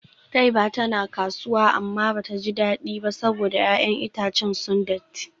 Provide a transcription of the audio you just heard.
Taiba tana kasuwa amma bata ji dadi ba saboda 'ya'yan itacen sun datti.